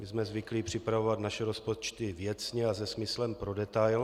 My jsme zvyklí připravovat své rozpočty věcně a se smyslem pro detail.